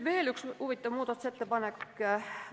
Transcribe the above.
Veel üks huvitav muudatusettepanek.